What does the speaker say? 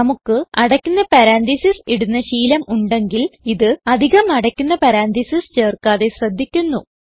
നമുക്ക് അടയ്ക്കുന്ന പരന്തസിസ് ഇടുന്ന ശീലം ഉണ്ടെങ്കിൽ ഇത് അധികം അടയ്ക്കുന്ന പറന്തെസിസ് ചേർക്കാതെ ശ്രദ്ധിക്കുന്നു